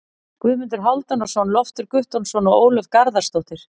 Guðmundur Hálfdanarson, Loftur Guttormsson og Ólöf Garðarsdóttir.